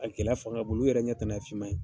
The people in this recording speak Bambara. A gɛlɛya fanga bolo, olu yɛrɛ ɲɛ tana ye fiman ye.